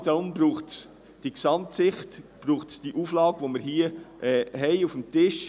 Genau deshalb braucht es diese Gesamtsicht und diese Auflage, die hier vorliegt.